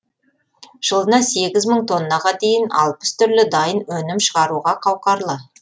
жылына сегіз мың тоннаға дейін алпыс түрлі дайын өнім шығаруға қауқарлы